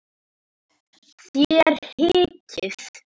Þér hikið?